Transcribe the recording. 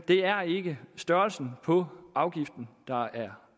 er ikke størrelsen på afgiften der er